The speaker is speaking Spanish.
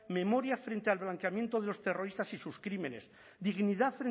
memoria frente al blanqueamiento de los terroristas y sus crímenes dignidad